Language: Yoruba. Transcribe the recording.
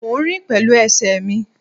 Mo ń rìn pẹ̀lú ẹsẹ̀ mi